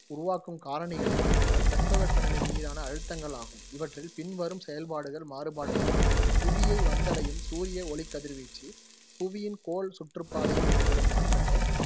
உருவாக்கும் காரணிகள் என்னவென்றால் தட்பவெப்பநிலை மீதான அழுத்தங்கள் ஆகும், இவற்றில் பின்வரும் செயல்பாடுகள் மாறுபாடுகளும் அடங்கும். புவியை வந்தடையும் சூரிய ஒளிக் கதிர்வீச்சு, புவியின் கோள் சுற்றுப்பாதையில் ஏற்படும் மாற்றங்கள்,